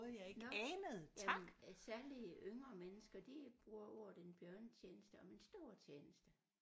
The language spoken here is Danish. Nåh jamen særligt yngre mennesker de bruger ordet en bjørnetjeneste om en stor tjeneste